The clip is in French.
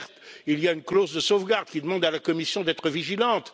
Certes, il y a une clause de sauvegarde qui demande à la Commission d'être vigilante.